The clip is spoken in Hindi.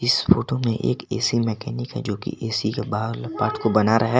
इस फोटो में एक ए_सी मैकेनिक है जो कि ए_सी के बाहर वाला पार्ट को बना रहा है।